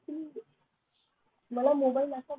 मला मोबाईल असं पाहिजे